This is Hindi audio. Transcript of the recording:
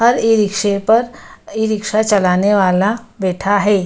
हर ई-रिक्शे पर ई-रिक्शा चलाने वाला बैठा है।